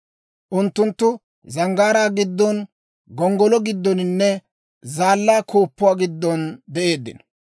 Unttunttu zanggaaraa giddon, gonggolo giddoninne zaallaa gonggoluwaa giddon de'eeddino.